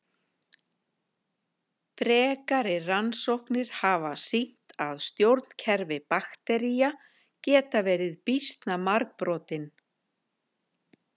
Frekari rannsóknir hafa sýnt að stjórnkerfi baktería geta verið býsna margbrotin.